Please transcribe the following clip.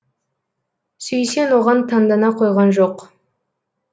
сүйсен оған таңдана қойған жоқ